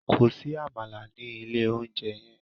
Kò sí àmàlà ní ilé-oúnjẹ yẹn!